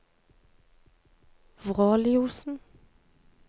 Vråliosen